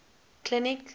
clinic